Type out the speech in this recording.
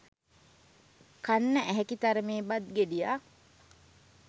කන්න ඇහැකි තරමේ බත් ගෙඩියක්